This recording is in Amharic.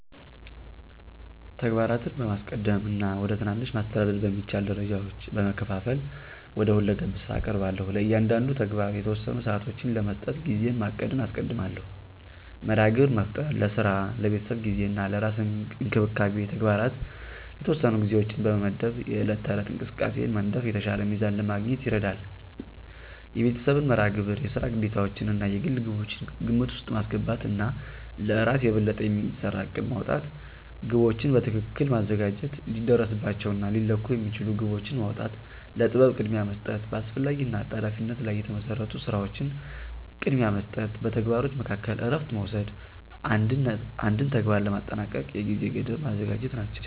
ተግባራትን በማስቀደም እና ወደ ትናንሽ፣ ማስተዳደር በሚቻል ደረጃዎች በመከፋፈል ወደ ሁለገብ ስራ እቀርባለሁ። ለእያንዳንዱ ተግባር የተወሰኑ ሰዓቶችን ለመስጠት ጊዜን ማቀድን አስቀድማለሁ። መርሃ ግብር መፍጠር፣ ለስራ፣ ለቤተሰብ ጊዜ እና ለራስ እንክብካቤ ተግባራት የተወሰኑ ጊዜዎችን በመመድብ የዕለት ተዕለት እንቅስቃሴን መንደፍ የተሻለ ሚዛን ለማግኘት ይረዳል። የቤተሰብን መርሃ ግብር፣ የስራ ግዴታዎችዎን እና የግል ግቦችን ግምት ውስጥ ማስገባት እና ለእራስ የበለጠ የሚሰራ እቅድ ማውጣት። ግቦችን በትክክል ማዘጋጀት፣ ሊደረስባቸው እና ሊለኩ የሚችሉ ግቦችን ማውጣ፣ ለጥበብ ቅድሚያ መስጠት፣ በአስፈላጊ እና አጣዳፊነት ላይ የተመሰረቱ ስራዎችን ቅድሚያ መስጠት፣ በተግባሮች መካከል እረፍት መውሰድ፣ አንድን ተግባር ለማጠናቀቅ የጊዜ ገደብ ማዘጋጀት ናቸው።